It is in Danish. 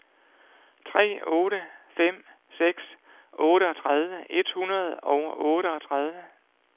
tre otte fem seks otteogtredive et hundrede og otteogtredive